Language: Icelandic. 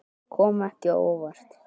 Kom ekki á óvart.